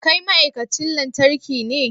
Kai ma'aikacin lantarki ne?